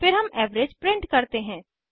फिर हम average print करते हैं